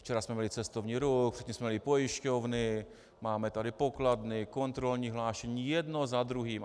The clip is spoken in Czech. Včera jsme měli cestovní ruch, předtím jsme měli pojišťovny, máme tady pokladny, kontrolní hlášení, jedno za druhým.